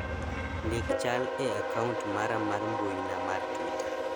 ndik chal e akaunt mara mar mbuina mar twita